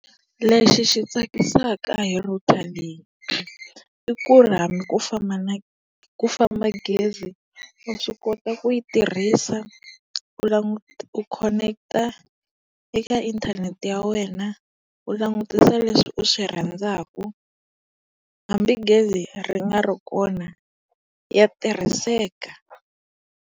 Lexi xi tsakisaka hi router leyi i ku ri hambi ku famba na ku famba gezi wa swi kota ku yi tirhisa, u u khoneketa eka inthanete ya wena, u langutisa leswi u swi rhandzaku hambi gezi ri nga ri kona ya tirhiseka.